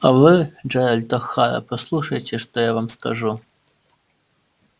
а вы джералд охара послушайте что я вам скажу